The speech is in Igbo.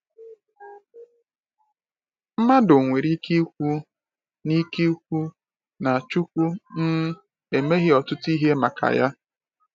mmadụ nwere ike kwu na ike kwu na Nwachukwu um emeghị ọtụtụ ihe maka ya.